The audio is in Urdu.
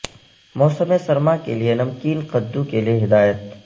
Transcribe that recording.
موسم سرما کے لئے نمکین قددو کے لئے ہدایت